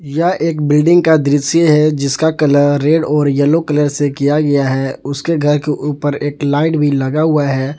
यह एक बिल्डिंग का दृश्य है जिसका कलर रेड और येलो कलर से किया गया है उसके घर के ऊपर एक लाइट भी लगा हुआ है।